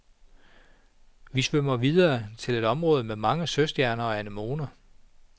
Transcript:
Vi svømmer videre til et område med mange søstjerner og anemoner.